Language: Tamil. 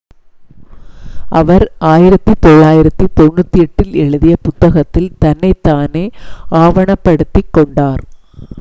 அவர் 1998 ல் எழுதிய புத்தகத்தில் தன்னைத் தானே ஆவணப்படுத்திக் கொண்டார்